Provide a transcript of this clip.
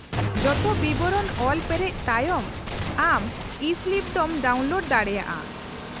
-ᱡᱚᱛᱚ ᱵᱤᱵᱚᱨᱚᱱ ᱚᱞ ᱯᱮᱨᱮᱡ ᱛᱟᱭᱚᱢ ᱟᱢ ᱤᱼᱥᱞᱤᱯ ᱫᱚᱢ ᱰᱟᱣᱩᱱᱞᱳᱰ ᱫᱟᱲᱮᱭᱟᱜᱼᱟ ᱾